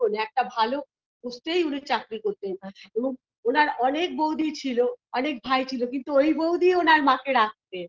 শোন একটা ভালো post -এই উনি চাকরি করতেন এবং ওনার অনেক বৌদি ছিল অনেক ভাই ছিল কিন্তু ওই বৌদি ওনার মাকে রাখতেন